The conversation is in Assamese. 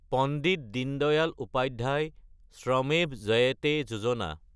পণ্ডিত দীনদয়াল উপাধ্যায় শ্ৰমেভ জয়তে যোজনা